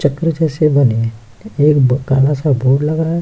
चक्र जैसे बने हैं एक काला-सा बोर्ड लगा है --